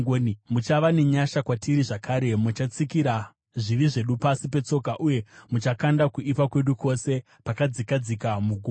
Muchava nenyasha kwatiri zvakare; muchatsikira zvivi zvedu pasi petsoka uye muchakanda kuipa kwedu kwose pakadzikadzika mugungwa.